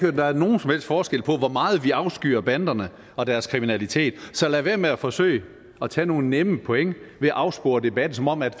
at der er nogen som helst forskel på hvor meget vi afskyr banderne og deres kriminalitet så lad være med at forsøge at tage nogle nemme point ved at afspore debatten som om at